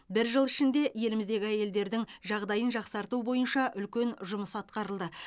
бір жыл ішінде еліміздегі әйелдердің жағдайын жақсарту бойынша үлкен жұмыс атқарылды